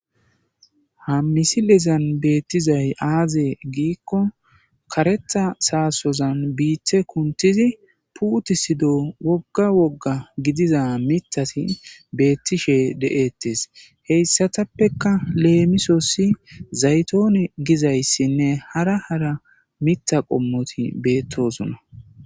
Ha misilezan beettizay aaze giikko karetha saasozan biite kuntizi puutisido wogga wogga gidiza mitati beettishe de'ettes heyssatappeka leemisosi zaytoone gizayssinne hara hara mitha qommoti beettosona.